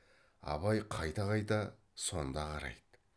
абай қайта қайта сонда қарайды